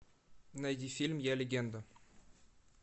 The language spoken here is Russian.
найди фильм я легенда